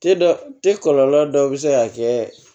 Te dɔ tɛ kɔlɔlɔ dɔ bɛ se ka kɛ